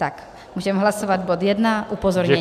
Tak může hlasovat bod jedna - upozornění.